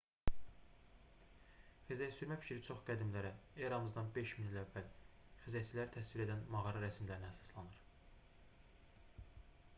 xizəksürmə fikri çox qədimlərə eramızdan 5000 il əvvəl xizəkçiləri təsvir edən mağara rəsmlərinə əsaslanır